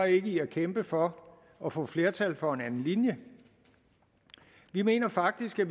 ikke i at kæmpe for at få flertal for en anden linje vi mener faktisk at